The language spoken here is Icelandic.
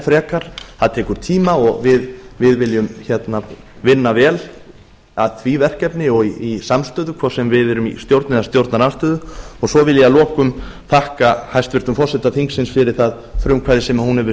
frekar það tekur tíma og við viljum vinna vel að því verkefni og í samstöðu hvort sem við erum í stjórn eða stjórnarandstöðu svo vil ég að lokum þakka hæstvirtum forseta þingsins fyrir það frumkvæði sem hún hefur